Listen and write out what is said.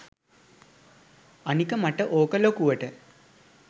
අනික මට ඕක ලොකුවට